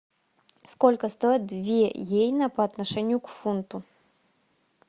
сколько стоит две йены по отношению к фунту